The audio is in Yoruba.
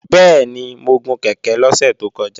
Bẹ́ẹ̀ni, mo gun kèké lọ́sẹ̀ tó kọjá